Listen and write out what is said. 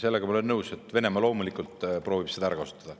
Sellega ma olen nõus, et Venemaa loomulikult proovib seda ära kasutada.